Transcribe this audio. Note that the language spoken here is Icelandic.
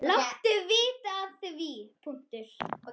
Láttu vita af því.